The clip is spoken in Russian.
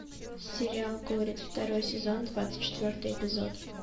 сериал горец второй сезон двадцать четвертый эпизод